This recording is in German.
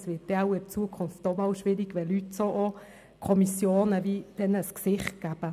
Es wird dann vermutlich in Zukunft schwierig, wenn Leute Kommissionen gleichsam ein Gesicht geben.